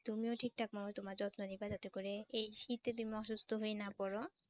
তুমিও ঠিকঠাকভাবে তোমার যত্ন নিবা যাতে করে এই শীতে তুমি অসুস্থ হইয়া না পড়ো।